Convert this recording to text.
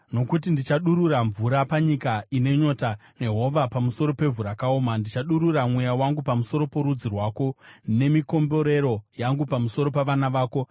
Nokuti ndichadurura mvura panyika ine nyota, nehova pamusoro pevhu rakaoma; ndichadurura Mweya wangu pamusoro porudzi rwako, nemikomborero yangu pamusoro pavana vako.